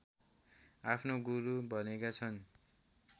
आफ्नो गुरू भनेका छन्